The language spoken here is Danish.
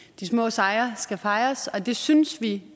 de små sejre skal fejres og det synes vi